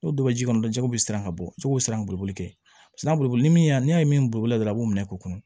N'o bɛ ji kɔnɔ dɔrɔn jɛgɛ bɛ siran ka bɔ jɛgɛw siran bolo kɛ sanalimanyan ni y'a ye min bolo dɔrɔn a b'o minɛ k'u kunna